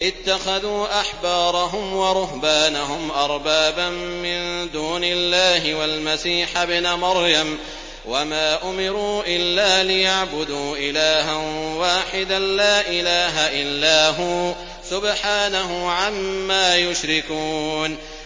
اتَّخَذُوا أَحْبَارَهُمْ وَرُهْبَانَهُمْ أَرْبَابًا مِّن دُونِ اللَّهِ وَالْمَسِيحَ ابْنَ مَرْيَمَ وَمَا أُمِرُوا إِلَّا لِيَعْبُدُوا إِلَٰهًا وَاحِدًا ۖ لَّا إِلَٰهَ إِلَّا هُوَ ۚ سُبْحَانَهُ عَمَّا يُشْرِكُونَ